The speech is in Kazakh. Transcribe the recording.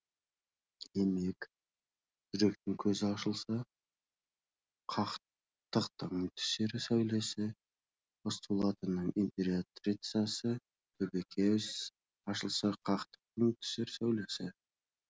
демек жүректің көзі ашылса хақтықтың түсер сәулесі постулатының императрициясы төбекөз ашылса хақтықтың түсер сәулесі